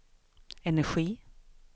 energi